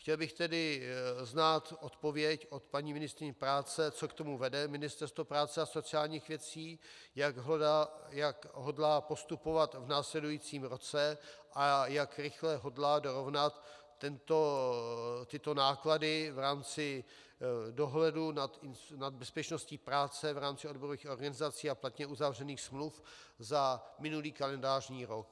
Chtěl bych tedy znát odpověď od paní ministryně práce, co k tomu vede Ministerstvo práce a sociálních věcí, jak hodlá postupovat v následujícím roce a jak rychle hodlá dorovnat tyto náklady v rámci dohledu nad bezpečností práce v rámci odborových organizací a platně uzavřených smluv za minulý kalendářní rok.